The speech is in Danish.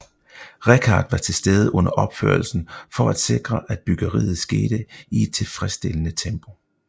Richard var tilstede under opførelsen for at sikre at byggeriet skete i et tilfredsstillende tempo